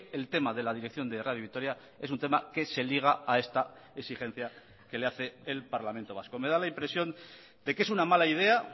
el tema de la dirección de radio vitoria es un tema que se liga a esta exigencia que le hace el parlamento vasco me da la impresión de que es una mala idea